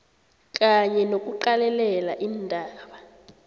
kanye nokuqalelela iindaba